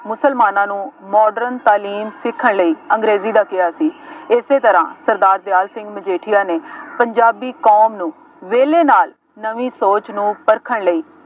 ਮੁਸਲਮਾਨਾਂ ਨੂੰ modern ਤਾਲੀਮ ਸਿੱਖਣ ਲਈ ਅੰਗਰੇਜ਼ੀ ਦਾ ਕਿਹਾ ਸੀ। ਇਸੇ ਤਰ੍ਹਾਂ ਸਰਦਾਰ ਦਿਆਲ ਸਿੰਘ ਮਜੀਠੀਆ ਨੇ ਪੰਜਾਬੀ ਕੌਮ ਨੂੰ ਵਿਹਲੇ ਨਾਲ ਨਵੀਂ ਸੋਚ ਨੂੰ ਪਰਖਣ ਲਈ